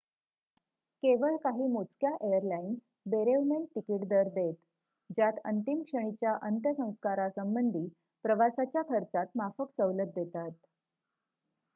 केवळ काही मोजक्या एयरलाईन्स बेरेवमेंट तिकीट दर देत ज्यात अंतिम क्षणीच्या अंत्यसंस्कारसंबंधी प्रवासाच्या खर्चात माफक सवलत देतात